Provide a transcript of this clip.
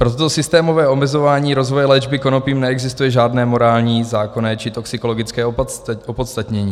Pro toto systémové omezování rozvoje léčby konopím neexistuje žádné morální zákonné či toxikologické opodstatnění.